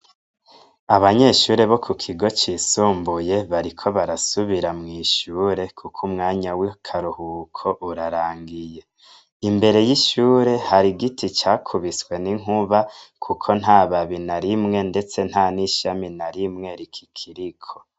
Abanyeshuri bo kukigo cisumbuye bariko barasubira mwishure, kuko umwanya w'akaruhuko urarangiye imbere y'ishure har' igiti cakubiswe n'inkuba kuko ntababi narimwe ,ndetse nta nishami narimwe rikikiriko.